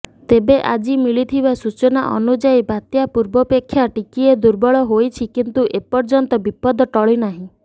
ତେବେ ଆଜି ମିଳିଥିବା ସୂଚନା ଅନୁଯାୟୀ ବାତ୍ୟା ପୂର୍ବପେକ୍ଷା ଟିକିଏ ଦୁର୍ବଳ ହୋଇଛି କିନ୍ତୁ ଏପର୍ଯ୍ୟନ୍ତ ବିପଦ ଟଳିନାହିଁ